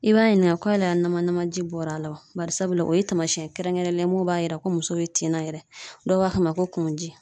I b'a ɲininga ko yala nama namaji bɔra la wa barisabula o ye taamasɛn ye kɛrɛnkɛrɛnnen ye mun b'a yira ko muso be tin na yɛrɛ dɔw b'a fɔ a ma ko kungoji